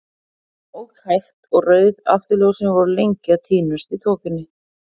Hann ók hægt, og rauð afturljósin voru lengi að týnast í þokunni.